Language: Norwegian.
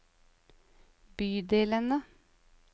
bydelene